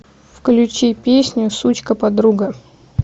включи песню сучка подруга